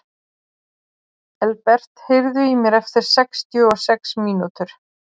Elbert, heyrðu í mér eftir sextíu og sex mínútur.